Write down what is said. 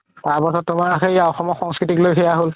তাৰ পাছত তুমাৰ অসমৰ সংস্কৃতিক লৈ সেয়া হ'ল